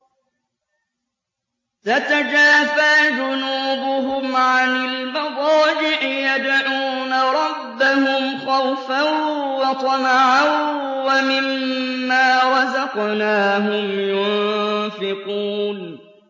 تَتَجَافَىٰ جُنُوبُهُمْ عَنِ الْمَضَاجِعِ يَدْعُونَ رَبَّهُمْ خَوْفًا وَطَمَعًا وَمِمَّا رَزَقْنَاهُمْ يُنفِقُونَ